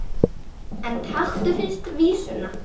En takk fyrir vísuna!